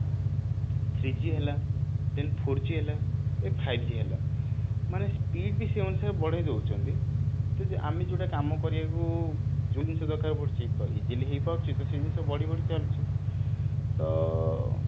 three G ହେଲା then four G ହେଲା then five G ହେଲା ମାନେ speed ବି ସେଇ ଅନୁସାରେ ବଢେଇ ଦଉଛନ୍ତି କିନ୍ତୁ ଆମେ ଯୋଉଟା କାମ କରିବାକୁ ଯୋଉ ଜିନିଷ ଦରକାର ପଡୁଛି ତ easily ହେଇ ପାରୁଛି ତ ସେଇ ଜିନିଷ ବଢି ବଢି ଚାଲିଛି ତ